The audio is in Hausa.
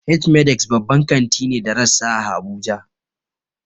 H-medix babban kanti ne da rassa a habuja.